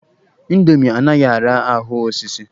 Indomi anaghị ara ahụ osisi.